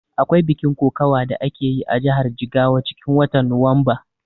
Akwai bikin kokawa da akeyi a jihar Jigawa cikin watan Nuwamba